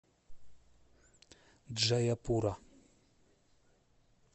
джаяпура